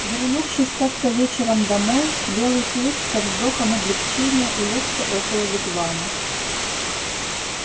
вернувшись как то вечером домой белый клык со вздохом облегчения улёгся около вигвама